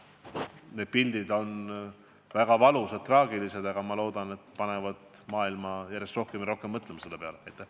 Need pildid on väga valusad, traagilised, aga ma loodan, et need panevad maailma järjest rohkem nende probleemide peale mõtlema.